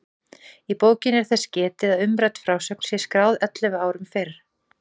Í bókinni er þess getið að umrædd frásögn sé skráð ellefu árum fyrr.